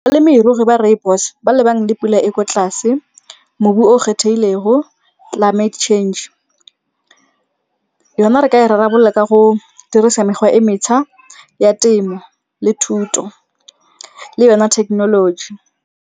Balemirui ba rooibos ba lebane le pula e ko tlase, mobu o kgethegilego, climate change. Yona re ka e rarabolola ka go dirisa mekgwa e mešwa ya temo le thuto, le yona technology.